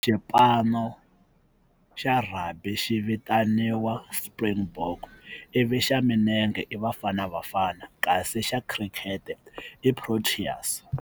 Xipano xa rugby xi vitaniwa Springbok i vi xa milenge i Bafana Bafana kasi xa cricket i Proteas.